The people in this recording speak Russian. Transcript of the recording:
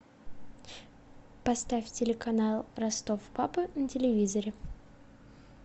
поставь телеканал ростов папа на телевизоре